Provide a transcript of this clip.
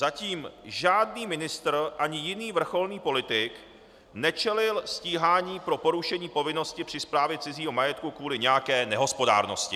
Zatím žádný ministr ani jiný vrcholný politik nečelil stíhání pro porušení povinnosti při správě cizího majetku kvůli nějaké nehospodárnosti.